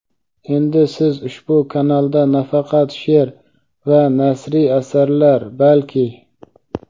Endi siz ushbu kanalda nafaqat she’r va nasriy asarlar, balki.